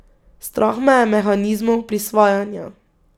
Strah me je mehanizmov prisvajanja.